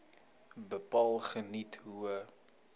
bepaal geniet hoë